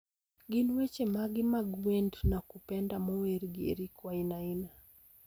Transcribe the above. Gin weche mage mag wend nakupenda mower gi eric wainaina